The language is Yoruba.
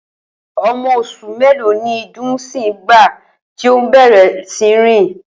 O̩mo̩ os̩ù mélòó ni Dùnńsín nígbà tí ó bè̩rè̩ sí ní rìn?